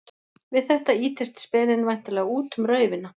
Við þetta ýtist speninn væntanlega út um raufina.